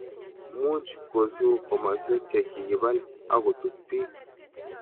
much kosuu komoswek che kikibal akutub biik